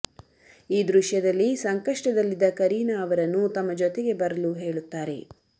ಈ ದೃಶ್ಯದಲ್ಲಿ ಸಂಕಷ್ಟದಲ್ಲಿದ್ದ ಕರೀನಾ ಅವರನ್ನು ತಮ್ಮ ಜೊತೆಗೆ ಬರಲು ಹೇಳುತ್ತಾರೆ